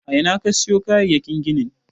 A ina ka siyo kayayyakin ginin?